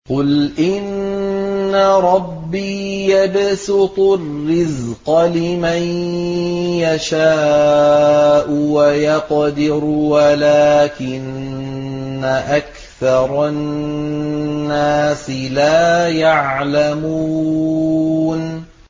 قُلْ إِنَّ رَبِّي يَبْسُطُ الرِّزْقَ لِمَن يَشَاءُ وَيَقْدِرُ وَلَٰكِنَّ أَكْثَرَ النَّاسِ لَا يَعْلَمُونَ